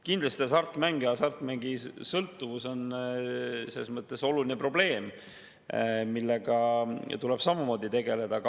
Kindlasti on hasartmängusõltuvus oluline probleem, millega tuleb samamoodi tegeleda.